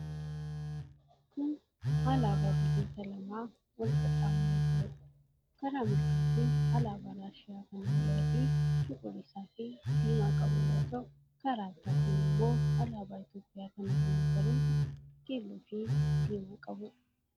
Kun alaabaa biyyoota lamaa wal qaxxaamuree jiruudha. Karaa mirgaatiin alaabaa Raashiyaa kan halluu adii, cuquliisaafi diimaa qabu yoo ta'u, karaa bitaatin immoo alaabaa Itiyoophiyaa kan halluu magariisa, keelloofi diimaa qabuudha.